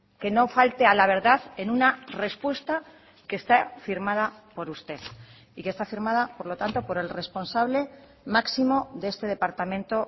que no falte a la verdad en una respuesta que está firmada por usted y que está firmada por lo tanto por el responsable máximo de este departamento